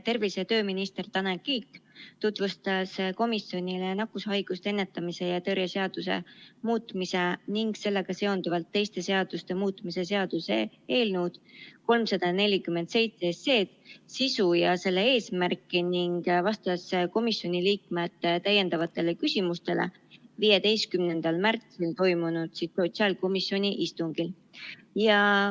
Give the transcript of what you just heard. Tervise- ja tööminister Tanel Kiik tutvustas komisjonile nakkushaiguste ennetamise ja tõrje seaduse muutmise ning sellega seonduvalt teiste seaduste muutmise seaduse eelnõu 347 sisu ja selle eesmärke ning vastas komisjoni liikmete täiendavatele küsimustele 15. märtsil toimunud sotsiaalkomisjoni istungil.